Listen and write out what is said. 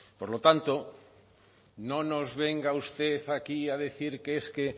por lo tanto no nos venga usted aquí a decir que es que